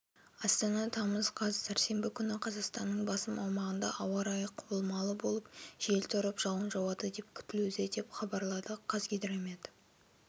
астана тамыз қаз сәрсенбі күні қазақстанның басым аумағында ауа райы құбылмалы болып жел тұрып жауын жауады деп күтілуде деп хабарлады қазгидромет